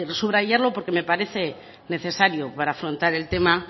subrayarlo porque me parece necesario para afrontar el tema